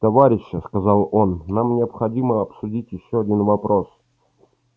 товарищи сказал он нам необходимо обсудить ещё один вопрос